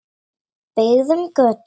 Byggðum götu.